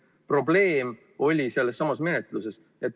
Probleem oli sellessamas menetluses.